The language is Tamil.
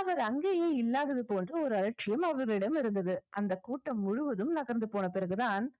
அவர் அங்கேயே இல்லாதது போன்று ஒரு அலட்சியம் அவரிடம் இருந்தது அந்த கூட்டம் முழுவதும் நகர்ந்து போன பிறகுதான்